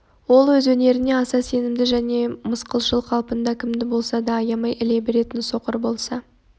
ол өз өнеріне аса сенімді және мысқылшыл қалпында кімді болса да аямай іле беретін соқыр болса